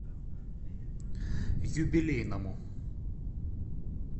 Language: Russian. юбилейному